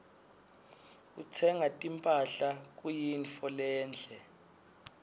kutsenga timphahla kuyintfo lenhle